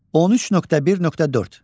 13.1.4.